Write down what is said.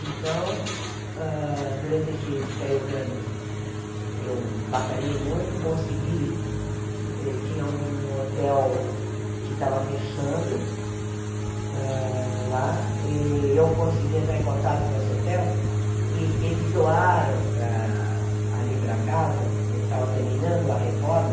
Então, hã durante esses três anos, eu batalhei muito, consegui, ti tinha um hotel que estava fechando hã lá, e eu consegui entrar em contato com esse hotel, e eles doaram para ali para casa, eh estava terminando a reforma,